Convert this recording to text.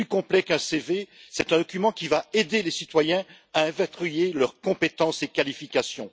Plus complet qu'un CV, c'est un document qui va aider les citoyens à inventorier leurs compétences et qualifications.